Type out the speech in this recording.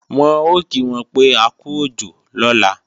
Wọ́n ò kí wọn pé akú òjò lọ́la